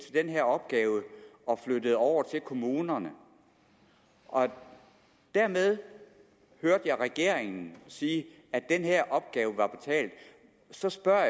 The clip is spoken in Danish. den her opgave og flyttede over til kommunerne og dermed hørte jeg regeringen sige at den her opgave var betalt så spørger